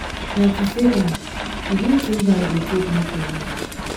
na to safe am begin tink how yu go take make amends